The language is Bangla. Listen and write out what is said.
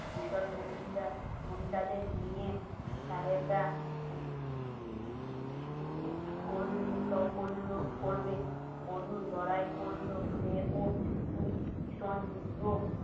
মুন্দা নিয়ে তাই আমরা করলো করবে বলুন করলো সে ও ভীষণ যুদ্ধ